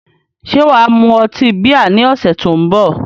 Ṣé wà á mu ọtí bíà ní ọ̀sẹ̀ tó ń bọ̀?